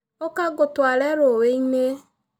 ũka ngũtware rũũĩ-inĩ.